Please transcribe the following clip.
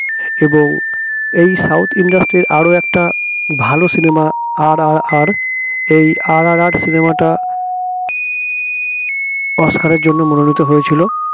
এবং এই south industry র আরও একটা ভালো cinemaRRR এই RRR cinema টা অস্কারের জন্য মনোনীত হয়েছিল